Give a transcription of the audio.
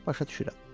Başa düşürəm.